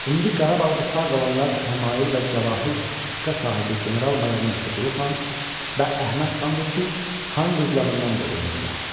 İndi Qarabağda sağ qalanlar Həmail və Cəvahircığqa sahibi general-mayor Mehdiqulu xan və Əhməd xandır ki, xan qızlarından doğulmuşlar.